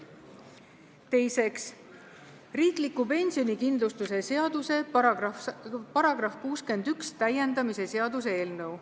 Teiseks, riikliku pensionikindlustuse seaduse § 61 täiendamise seaduse eelnõu.